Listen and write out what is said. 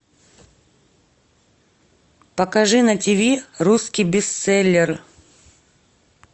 покажи на ти ви русский бестселлер